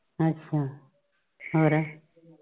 ਅੱਛਾ ਹੋਰ।